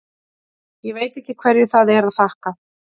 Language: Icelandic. Ég veit ekki hverju það er að þakka.